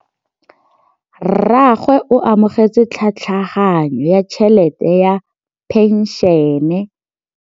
Rragwe o amogetse tlhatlhaganyô ya tšhelête ya phenšene.